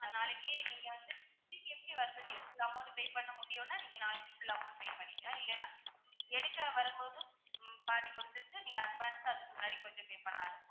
நாளைக்கே நீங்க வந்து full amount pay பண்ண முடியும்ன்னா நீங்க நாளைக்கு full amount pay பண்ணிக்கலாம் இல்லைன்னா எடுக்க வரும்போது, பாதி குடுத்துட்டு நீங்க advance சா அதுக்கு முன்னாடி கொஞ்சம் pay பண்ணலாம்.